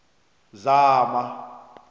zama